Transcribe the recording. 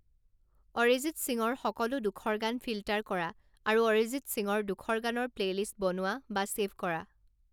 অৰিজিত সিঙৰ সকলো দুখৰ গান ফিল্টাৰ কৰা আৰু অৰিজিত সিঙৰ দুখৰ গানৰ প্লে'লিষ্ট বনোৱা বা ছে'ভ কৰা